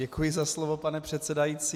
Děkuji za slovo, pane předsedající.